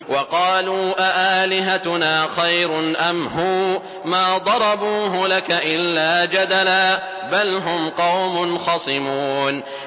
وَقَالُوا أَآلِهَتُنَا خَيْرٌ أَمْ هُوَ ۚ مَا ضَرَبُوهُ لَكَ إِلَّا جَدَلًا ۚ بَلْ هُمْ قَوْمٌ خَصِمُونَ